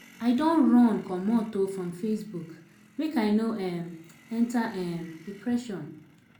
I don run comot um from Facebook make I no um enta um depression.